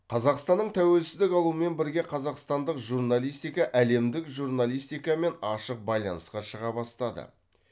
қазақстанның тәуелсіздік алуымен бірге қазақстандық журналистика әлемдік журналистикамен ашық байланысқа шыға бастады